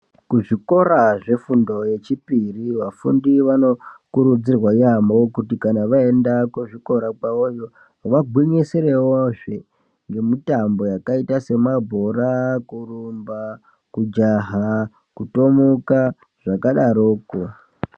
Kuzvikora zvefundo yechipiri vafundi vanokurudzirwa yaamho kuti kana vaenda kuzvikora kwawoyo vagwinyisirewozve ne mitambo yakaita semabhora, kurumba ,kujaha, kutomuka nezvakadaroko.